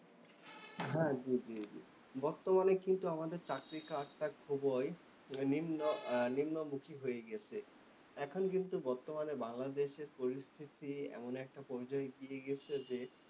হ্যাঁ, জ্বি জ্বি। বর্তমানে কিন্তু আমাদের চাকরি খাতটা খুবই নিম্ন নিম্নমুখী হয়ে গিয়েছে। এখন কিন্তু বর্তমানে বাংলাদেশের পরিস্থিতি এমন একটা পর্যায়ে এগিয়ে গিয়েছে যে,